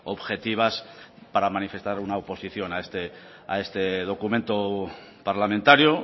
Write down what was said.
objetivas para manifestar una oposición a este documento parlamentario